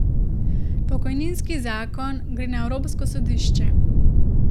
Pokojninski zakon gre na evropsko sodišče.